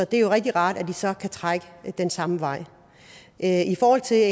det er jo rigtig rart at de så kan trække den samme vej i forhold til det